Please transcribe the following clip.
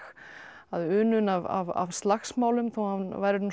hafði unun af slagsmálum þó hann væri